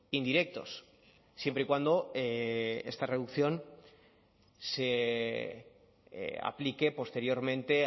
indirectos siempre y cuando esta reducción se aplique posteriormente